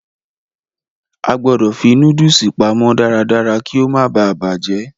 A gbọ̀dọ̀ fi nóódùsì pamọ́ darádará kí ó má baà bàjẹ́